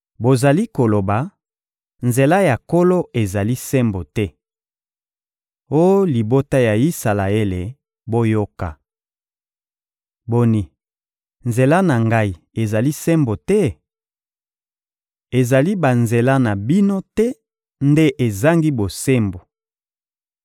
Bozali koloba: ‹Nzela ya Nkolo ezali sembo te.› Oh libota ya Isalaele, boyoka! Boni, nzela na Ngai ezali sembo te? Ezali banzela na bino te nde ezangi bosembo!